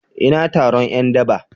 Ina taron ’yan daba?